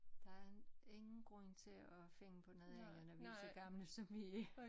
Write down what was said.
Der er ingen grund til at finde på noget andet når vi så gamle som vi er